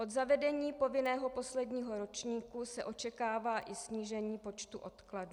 Od zavedení povinného posledního ročníku se očekává i snížení počtu odkladů.